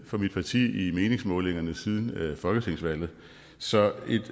for mit parti i meningsmålingerne siden folketingsvalget så